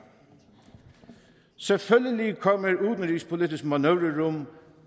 selvfølgelig kommer udenrigspolitisk manøvrerum